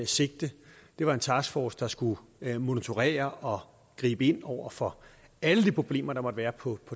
sigte det var en taskforce der skulle monitorere og gribe ind over for alle de problemer der måtte være på